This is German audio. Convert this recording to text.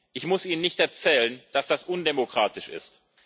Ich muss Ihnen nicht erzählen, dass dies undemokratisch ist.